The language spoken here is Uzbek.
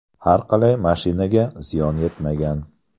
Har qalay, mashinaga ziyon yetmagan.